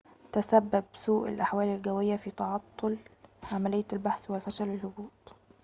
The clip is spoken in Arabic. تسبب سوء الأحوال الجوية في تعطل عملية البحث وفشل الهبوط